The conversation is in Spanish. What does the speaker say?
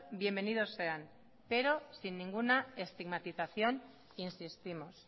bienvenidos sean pero sin ninguna estigmatización insistimos